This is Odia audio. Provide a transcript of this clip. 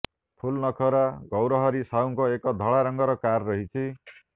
ଫୁଲନଖରା ଗୌରହରି ସାହୁଙ୍କ ଏକ ଧଳା ରଙ୍ଗର କାର ରହିଛି